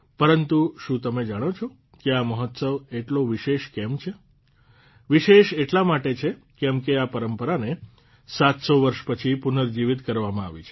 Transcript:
પરંતુ શું તમે જાણો છો કે આ મહોત્સવ આટલો વિશેષ કેમ છે વિશેષ એટલા માટે છે કેમ કે આ પરંપરાને ૭૦૦ વર્ષ પછી પુનર્જીવીત કરવામાં આવી છે